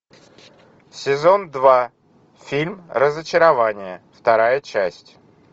сезон два фильм разочарование вторая часть